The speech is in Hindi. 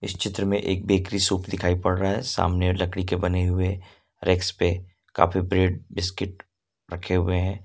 चित्र में एक बेकरी शॉप दिखाई पड़ रहा है सामने लकड़ी के बने हुए रेक्स पे काफी ब्रेड बिस्किट रखे हुए हैं।